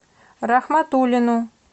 рахматуллину